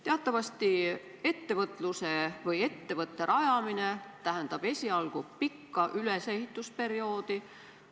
Teatavasti ettevõtte rajamine tähendab esialgu pikka ülesehitusperioodi.